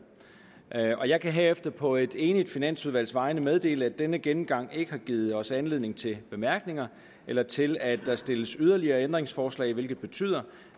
jeg kan herefter på et enigt finansudvalgs vegne meddele at denne gennemgang ikke har givet os anledning til bemærkninger eller til at der stilles yderligere ændringsforslag det betyder